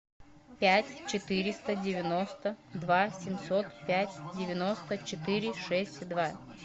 пять четыреста девяносто два семьсот пять девяносто четыре шесть два